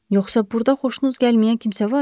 Yoxsa burda xoşunuz gəlməyən kimsə var?